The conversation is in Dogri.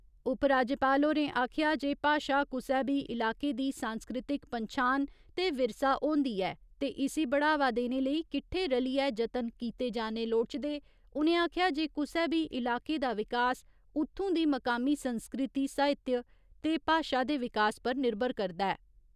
उपराज्यपाल होरें आखेआ जे भाशा कुसै बी इलाके दी सांस्कृतिक पन्छान, ते विरसा होन्दी ऐ ते इसी बढ़ावा देने लेई किट्ठे रलिए जतन कीते जाने लोड़चदे उ'नें आखेआ जे कुसै बी इलाके दा विकास उत्थूं दी मकामी संस्कृति साहित्य ते भाशा दे विकास पर निर्भर करदा ऐ।